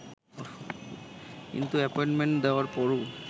কিন্তু অ্যাপয়েন্টমেন্ট দেওয়ার পরও